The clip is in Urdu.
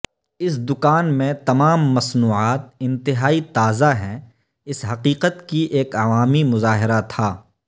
اس دکان میں تمام مصنوعات انتہائی تازہ ہیں اس حقیقت کی ایک عوامی مظاہرہ تھا